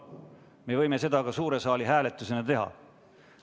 Me võime seda ka suure saali hääletusena teha.